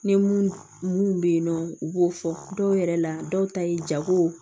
Ni mun bɛ yen nɔ u b'o fɔ dɔw yɛrɛ la dɔw ta ye jago